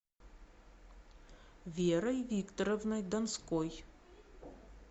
верой викторовной донской